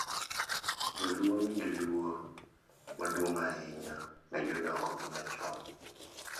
Jo-Luo nigi luor maduong’ ahinya ne jodongogi machon,